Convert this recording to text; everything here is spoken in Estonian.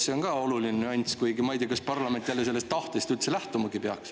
See on ka oluline nüanss, kuigi ma ei tea, kas parlament üldse peaks sellest tahtest lähtuma.